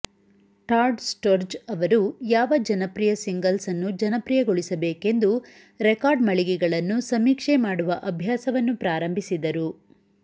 Todd Storz ಅವರು ಯಾವ ಜನಪ್ರಿಯ ಸಿಂಗಲ್ಸ್ ಅನ್ನು ಜನಪ್ರಿಯಗೊಳಿಸಬೇಕೆಂದು ರೆಕಾರ್ಡ್ ಮಳಿಗೆಗಳನ್ನು ಸಮೀಕ್ಷೆ ಮಾಡುವ ಅಭ್ಯಾಸವನ್ನು ಪ್ರಾರಂಭಿಸಿದರು